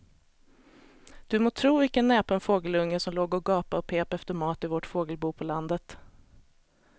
Du må tro vilken näpen fågelunge som låg och gapade och pep efter mat i vårt fågelbo på landet.